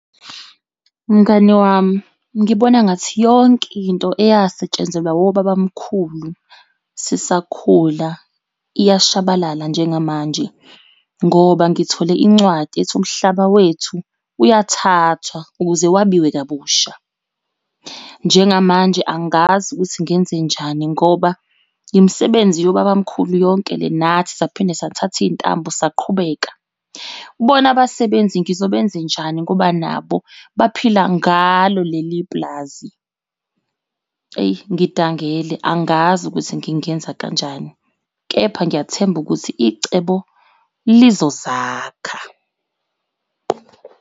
Mngani wami, ngibona engathi yonke into eyasetshenzelwa obaba mkhulu sisakhula iyashabalala njengamanje ngoba ngithole incwadi ethi umhlaba wethu uyathathwa ukuze wabiwe kabusha. Njengamanje angazi ukuthi ngenzenjani ngoba imisebenzi yobaba mkhulu yonke le nathi saphinde sathatha iy'ntambo saqhubeka. Bona abasebenzi ngizobenzenjani ngoba nabo baphila ngalo leli pulazi. Eyi ngidangele angazi ukuthi ngingenza kanjani, kepha ngiyathemba ukuthi icebo lizozakha.